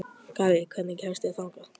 Garri, hvernig kemst ég þangað?